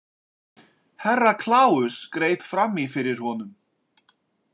Herra Kláus greip fram í fyrir honum.